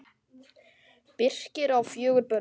Birkir á fjögur börn.